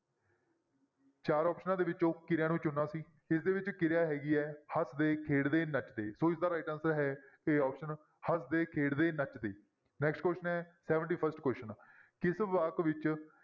ਚਾਰ ਆਪਸਨਾਂ ਦੇ ਵਿੱਚੋਂ ਕਿਰਿਆ ਨੂੰ ਚੁਣਨਾ ਸੀ ਇਸਦੇ ਵਿੱਚ ਕਿਰਿਆ ਹੈਗੀ ਹੈ ਹੱਸਦੇ, ਖੇਡਦੇ, ਨੱਚਦੇ ਸੋ ਇਸਦਾ right answer ਹੈ a option ਹੱਸਦੇ, ਖੇਡਦੇ, ਨੱਚਦੇ next question ਹੈ seventy first question ਕਿਸ ਵਾਕ ਵਿੱਚ